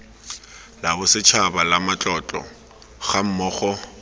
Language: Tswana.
la bosetshaba la ramatlotlo gammogo